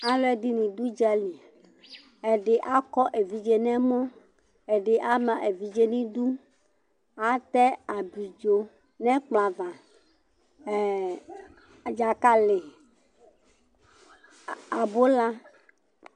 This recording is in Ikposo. alʊɛɗɩnɩ aɗʊ ʊɗjalɩ ɔlʊ eɗɩgɓo aƙɔ eʋɩɗje nʊ ɛmɔ ɛɗɩɓɩ ama eʋɩɗje nʊ ɩɗʊ atɛ aɓlɩɗjo, ɗjaƙalɩ, aɓʊla nʊ ɛƙplɔƴɛ aʋa